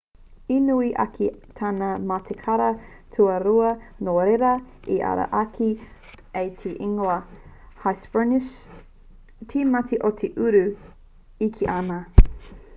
i nui ake tana matikara tua rua nō reira i ara ake ai te ingoa hesperonychus te mati o te uru e kī ana